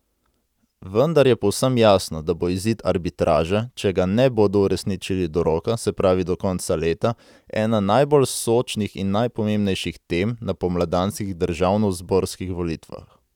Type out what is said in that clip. Vendar je povsem jasno, da bo izid arbitraže, če ga ne bodo uresničili do roka, se pravi do konca leta, ena najbolj sočnih in najpomembnejših tem na pomladanskih državnozborskih volitvah.